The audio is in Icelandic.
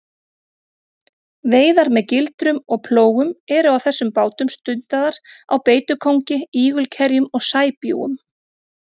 Veiðar með gildrum og plógum eru á þessum bátum stundaðar á beitukóngi, ígulkerjum og sæbjúgum.